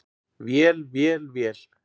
Vél, vél, vél.